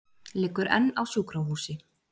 Liggur enn á sjúkrahúsi